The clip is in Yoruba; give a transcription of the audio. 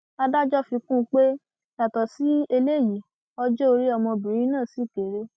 adájọ fi kún un pé yàtọ sí eléyìí ọjọ orí ọmọbìnrin náà ṣì kéré